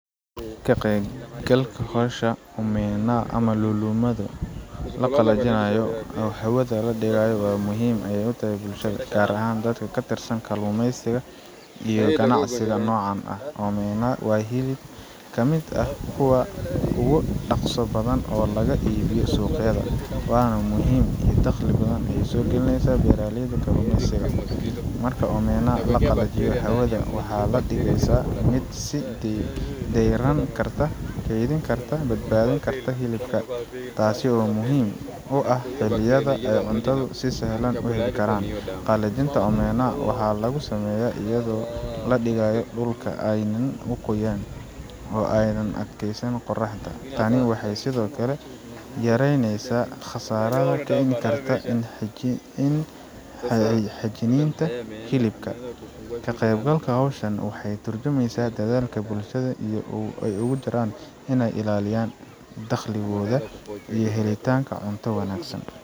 Ka qeyb galka howsha omena ama lulumadu, mid la qalajinaayo oo hawada ladigaayo waa muhiim ayeey utahay bulshada gaar ahaan dadka katirsan kalumeysiga, iyo ganacsiga noocan ah, omena waa hilib kamid ah kuwa ugu ganacsi badan oo lagu iibiyo suuqyada, waana muhiim ee daqli badan ayeey soo galineysa dadaaleyda kalumeysiga, marka laqalajiyo hawada waxaad digeysa mid badbaadin karta hilibka, taas oo muhiim u ah dalyada oo cuntada si sahlan uheli karaan, qalajinta waxaa lagu sameeya ayado ladigaayo dulka aaynan uqoyin oo aay qoraxda qabato, tani waxeey sido kale yareneysa qasaarada kaimani karta in xajininka hilibka, ka qeyb galka howshan waxaay turjumeysa dadaalka bulshada aay ugu jiraan ineey ilaaliyaan daqli gooda iyo helitaanka cunto wanagsan.